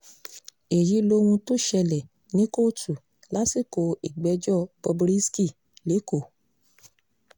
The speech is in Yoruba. èyí lohun tó ṣẹlẹ̀ ní kóòtù lásìkò ìgbẹ́jọ́ bob risky lẹ́kọ̀ọ́